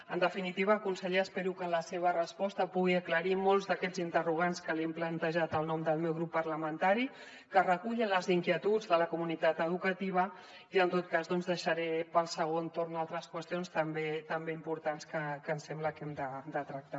en definitiva conseller espero que en la seva resposta pugui aclarir molts d’aquests interrogants que li hem plantejat en nom del meu grup parlamentari que recullen les inquietuds de la comunitat educativa i en tot cas doncs deixaré per al segon torn altres qüestions també importants que ens sembla que hem de tractar